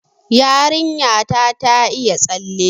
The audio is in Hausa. Yarinya ta ta iya tsalle